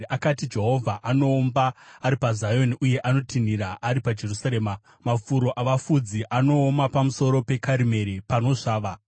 Akati: “Jehovha anoomba ari paZioni uye anotinhira ari paJerusarema; mafuro avafudzi anooma, pamusoro peKarimeri panosvava.”